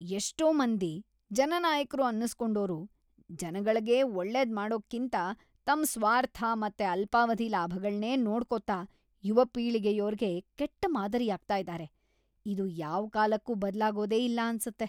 ಎಷ್ಟೋ ಮಂದಿ ಜನನಾಯಕ್ರು ಅನ್ಸ್‌ಕೊಂಡೋರು ಜನಗಳ್ಗೆ ಒಳ್ಳೇದ್‌ ಮಾಡೋಕ್ಕಿಂತ ತಮ್‌ ಸ್ವಾರ್ಥ ಮತ್ತೆ ಅಲ್ಪಾವಧಿ ಲಾಭಗಳ್ನೇ ನೋಡ್ಕೊತಾ ಯುವಪೀಳಿಗೆಯೋರ್ಗೆ ಕೆಟ್ಟ ಮಾದರಿಯಾಗ್ತಾ ಇದಾರೆ, ಇದು ಯಾವ್ಕಾಲಕ್ಕೂ ಬದ್ಲಾಗೋದೇ ಇಲ್ಲ ಅನ್ಸತ್ತೆ.